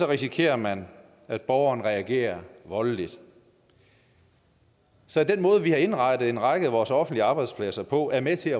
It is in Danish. risikerer man at borgeren reagerer voldeligt så den måde vi har indrettet en række af vores offentlige arbejdspladser på er med til